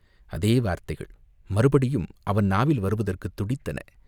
அதே வார்த்தைகள் மறுபடியும் அவன் நாவில் வருவதற்குத் துடித்தன.